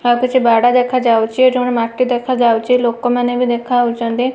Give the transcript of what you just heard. ହେ ଆଉ କିଛି ବାଡ ଦେଖାଯାଉଚି ଗୋଟେ ମାଟି ଦେଖାଯାଉଚି। ଲୋକମାନେ ବି ଦେଖାହୋଉଚନ୍ତି।